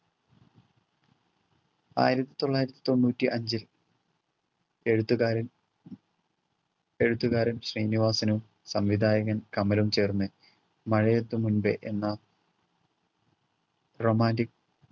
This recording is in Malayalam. ആയിരത്തിത്തൊള്ളായിരത്തി തൊണ്ണൂറ്റി അഞ്ചിൽ എഴുത്തുകാരൻ എഴുത്തുകാരൻ ശ്രീനിവാസനും സംവിധായകൻ കമലും ചേർന്ന് മഴയെത്തും മുൻപേ എന്ന romantic